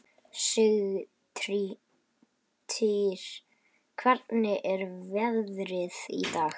Sigtýr, hvernig er veðrið í dag?